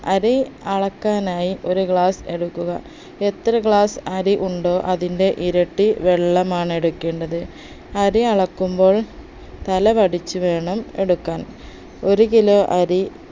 അരി അളക്കാനായി ഒരു glass എടുക്കുക എത്ര glass അരി ഉണ്ടോ അതിന്റെ ഇരട്ടി വെള്ളമാണ് എടുക്കേണ്ടത് അരി അളക്കുമ്പോൾ തല വടിച്ചു വേണം എടുക്കാൻ ഒരു kilo അരി